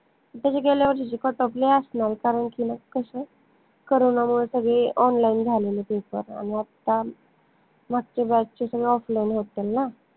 त्याच्या गेल्या वर्षीचे Cutoff लय असनार कारन की ना कस Corona मुळे सगळे online झालेले paper आनि आता मागच्या batch चे सगळे offline होतल ना